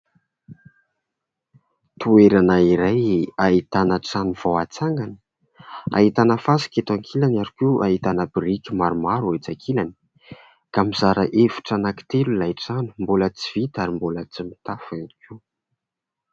Toerana iray ahitana trano vao atsangana, ahitana fasika eto ankilany ary koa ahitana biriky maromaro etsy ankilany ka mizara efitra anankitelo ilay trano, mbola tsy vita ary mbola tsy mitafo ihany koa.